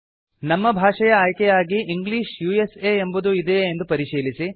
ನಮ್ಮ ಭಾಷೆಯ ಆಯ್ಕೆಯಾಗಿ ಇಂಗ್ಲಿಷ್ ಉಸಾ ಎಂಬುದು ಇದೇಯೇ ಎಂದು ಪರಿಶೀಲಿಸಿ